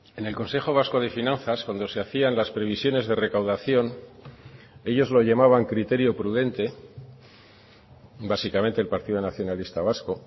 en el consejo vasco de finanzas cuando se hacían las previsiones de recaudación ellos lo llamaban criterio prudente básicamente el partido nacionalista vasco